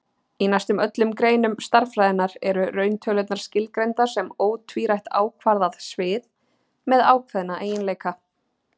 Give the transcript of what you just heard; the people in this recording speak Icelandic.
Í næstum öllum greinum stærðfræðinnar eru rauntölurnar skilgreindar sem ótvírætt ákvarðað svið með ákveðna eiginleika.